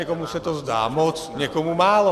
Někomu se to zdá moc, někomu málo.